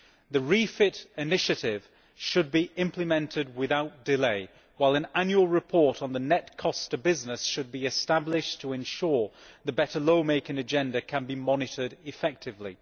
The REFIT initiative should be implemented without delay, while an annual report on the net costs to business should be established to ensure that the better lawmaking agenda can be monitored effectively.